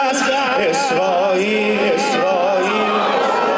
İsrail! İsrail!